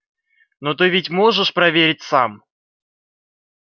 но ты ведь можешь проверить сам